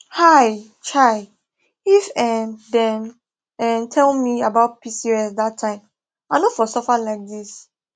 um chai if um dem um tell me about pcos that time i no for suffer like this